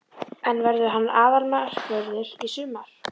En verður hann aðalmarkvörður í sumar?